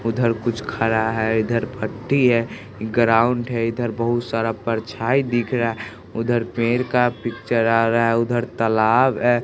उधर कुछ खड़ा है इधर भट्ठी है ग्राउंड है इधर बहुत सारा परछाई दिख रहा उधर पेड़ का पिक्चर आ रहा उधर तलाब ए।